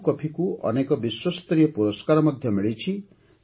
ଆରାକୁ କଫିକୁ ଅନେକ ବିଶ୍ୱସ୍ତରୀୟ ପୁରସ୍କାର ମଧ୍ୟ ମିଳିଛି